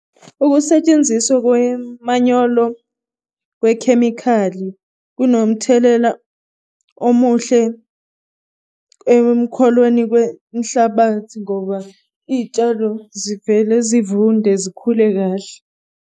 Ukusetshenziswa kwemanyolo kwekhemikhali kunomthelela omuhle emkholweni kwenhlabathi ngoba iy'tshalo zivele zivunde zikhule kahle.